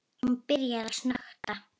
Hún byrjar að snökta.